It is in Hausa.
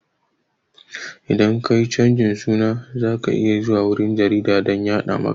Idan ka yi canjin suna za ka iya zuwa wurin jarida dan a yaɗa maka